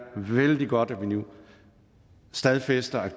vældig godt at vi nu stadfæster at